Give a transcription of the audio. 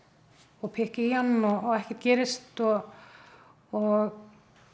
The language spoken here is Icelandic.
og pikka í hann og ekkert gerist og og